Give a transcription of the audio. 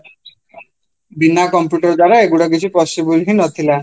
ବିନା computer ଦ୍ଵାରା ଏଗୁଡା possible ହିଁ ନଥିଲା